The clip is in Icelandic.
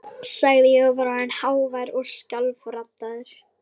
sagði ég, og var orðinn hávær og skjálfraddaður.